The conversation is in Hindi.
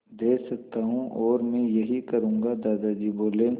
दे सकता हूँ और मैं यही करूँगा दादाजी बोले